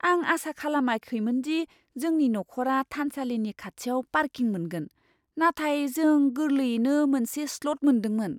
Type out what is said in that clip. आं आसा खालामाखैमोन दि जोंनि नखरा थानसालिनि खाथियाव पार्किं मोनगोन, नाथाय जों गोरलैयैनो मोनसे स्लट मोनदोंमोन।